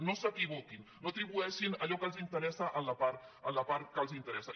no s’equivoquin no atribueixin allò que els interessa a la part que els interessa